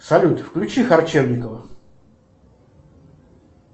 салют включи харчевникова